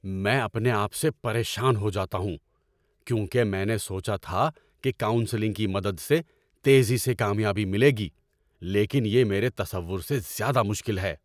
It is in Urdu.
میں اپنے آپ سے پریشان ہو جاتا ہوں کیونکہ میں نے سوچا تھا کہ کاؤنسلنگ کی مدد سے تیزی سے کامیابی ملے گی، لیکن یہ میرے تصور سے زیادہ مشکل ہے۔